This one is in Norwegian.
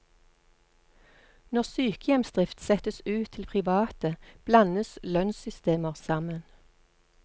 Når sykehjemsdrift settes ut til private blandes lønnssystemer sammen.